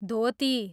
धोती